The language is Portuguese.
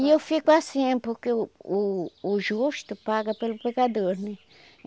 E eu fico assim, porque o o justo paga pelo pecador, né?